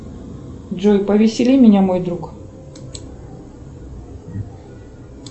джой повесели меня мой друг